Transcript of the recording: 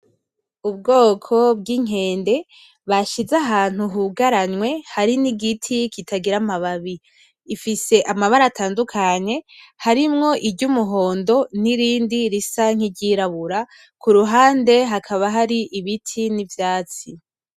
Ubwoko bw’inkende bashize ahantu hugaranywe hari n’igiti kitagira amababi. Ifise amabara atandukanye harimwo iry’umuhondo n’irindi risa nk’iryirabura kuruhande hakaba hari ibiti n’ivyatsi.